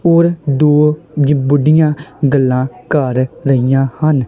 ਹੋਰ ਦੋ ਬੁੱਢਿਆਂ ਗੱਲਾਂ ਕਰ ਰਹੀਆਂ ਹਨ।